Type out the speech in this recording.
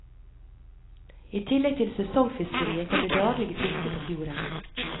I tillegg til sesongfiskeriet kom det daglige fisket på fjorden.